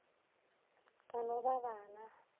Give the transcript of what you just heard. ka no ba ba na